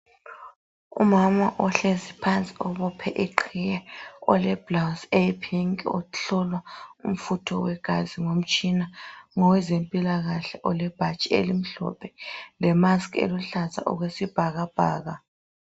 Umama ohlezi phansi obophe iqhiye, oleblouse eyipink uhlolwa umfutho wegazi ngomtshina ngowezempilakahle olebhatshi elimhlophe lemusk eluhlaza okwesibhakabhaka.